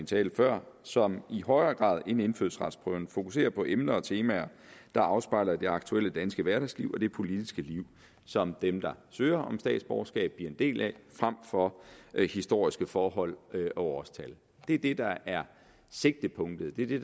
tale før som i højere grad end indfødsretsprøven fokuserer på emner og temaer der afspejler det aktuelle danske hverdagsliv og det politiske liv som dem der søger om statsborgerskab bliver en del af frem for historiske forhold og årstal det er det der er sigtepunktet det er det